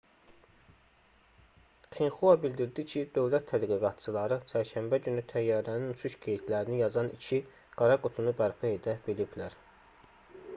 xinxua bildirdi ki dövlət tədqiqatçıları çərşənbə günü təyyarənin uçuş qeydlərini yazan iki qara qutunu bərpa edə biliblər